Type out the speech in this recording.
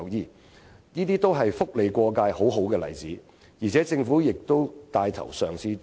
凡此種種，均是"福利過界"的好例子，政府更已帶頭嘗試進行。